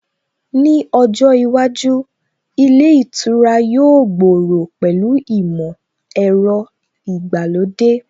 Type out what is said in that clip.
Ní ojó iwájú, ilé ìtura yóò gbòòrò pẹ̀lú ìmọ̀ ẹ̀rọ ìgbàlódé